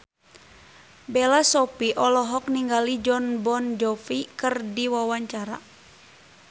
Bella Shofie olohok ningali Jon Bon Jovi keur diwawancara